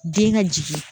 Den ka jigin